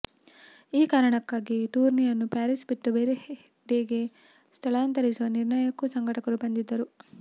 ಈ ಕಾರಣಕ್ಕಾಗಿ ಟೂರ್ನಿಯನ್ನು ಪ್ಯಾರಿಸ್ ಬಿಟ್ಟು ಬೇರೆ ಡೆಗೆ ಸ್ಥಳಾಂತರಿಸುವ ನಿರ್ಣಯಕ್ಕೂ ಸಂಘಟಕರು ಬಂದಿದ್ದರು